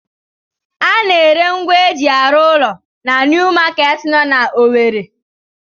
A na-ere ngwa eji arụ ụlọ na New Market nọ na Owere?